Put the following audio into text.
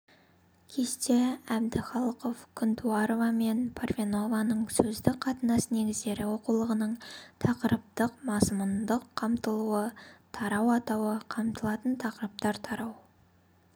кесте әбдіхалықов күнтуарова мен парфенованың сөздік қатынас негіздері оқулығының тақырыптық-мазмұндық қамтылуы тарау атауы қамтылатын тақырыптар тарау